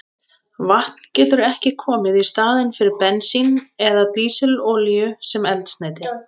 Vatn getur ekki komið í staðinn fyrir bensín eða dísilolíu sem eldsneyti.